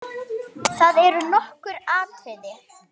Það eru nokkur atriði.